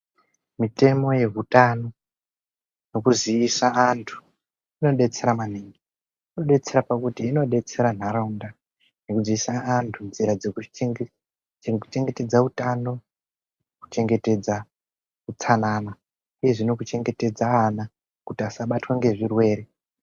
Mitemo yehutano, yekuziisa antu inodetsera maningi. Inodetsera pakuti inodetsera nharaunda nekuziisa antu nzira dzekuchengetedza utano, utsanana uyezve nekuchengetedza ana kuti asabatwa ngezvirwere.